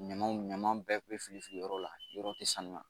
Ɲama ɲama bɛɛ be fili fili yɔrɔ la yɔrɔ te sanuya